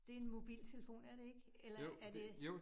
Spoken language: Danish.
Det en mobiltelefon er det ik? Eller er det